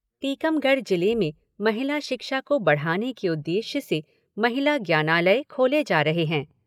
टीकमगढ़ जिले में महिला शिक्षा को बढ़ाने के उद्देश्य से महिला ज्ञानालय खोले जा रहे है।